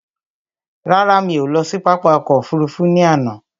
Rárá, mí ò lọ sí pápá ọkò òfurufú ní àná.